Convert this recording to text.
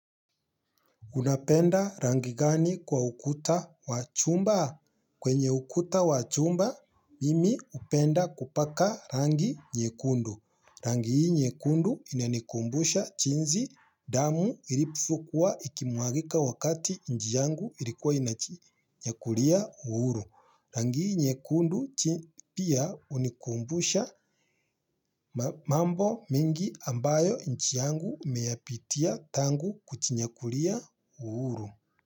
Unapenda rangi gani kwa ukuta wa chumba? Kwenye ukuta wa chumba, mimi hupenda kupaka rangi nyekundu. Rangi hii nyekundu inanikumbusha jinsi damu ilivokua ikimuagika wakati nchi yangu ilikuwa inajinyakulia uhuru. Rangi hii nyekundu pia hunikumbusha mambo mingi ambayo nchi yangu imeyapitia tangu kujinyakulia uhuru.